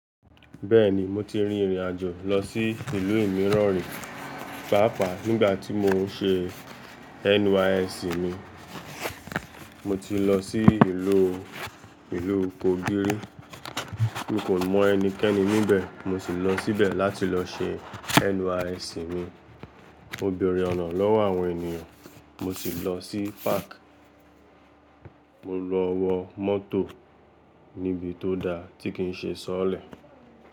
Bẹ́ẹ̀ni mo ti rin ìrìn àjò lọ sí ìlú ìmíràn rí, pàápàá nígbà tí mò ń ṣe NYSC mi, mo ti lọ sí ìlú, ìlú Kogí ri. Mi kò mọ ẹnikẹ́ni níbẹ̀, mo sì lọ síbẹ̀ láti lọ ṣe NYSC mi. Mo bèèrè ọ̀nà lọ́wọ́ àwọn ènìyàn, mo sì lọ sí párk, mo lọ wọ mọ́tò níbi tó da tí kì í ṣe sọọ́lẹ̀.